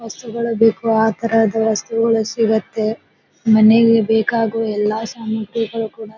ವಸ್ತುಗಳ್ ಬೇಕ್ ಅಥರ ಅಥರ ವಸ್ತುಗಳು ಸಿಗತ್ತೆಮನೆಗೆ ಬೇಕಾಗುವ ಎಲ್ಲ ಸಾಮಗ್ರಿಗಳು ಕೂಡ--